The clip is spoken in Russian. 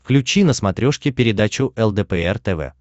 включи на смотрешке передачу лдпр тв